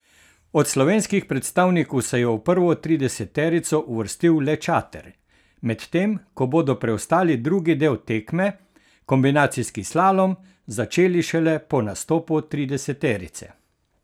Od slovenskih predstavnikov se je v prvo trideseterico uvrstil le Čater, medtem ko bodo preostali drugi del tekme, kombinacijski slalom, začeli šele po nastopu trideseterice.